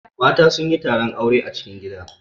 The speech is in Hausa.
Mata sun yi taron aure a cikin gida.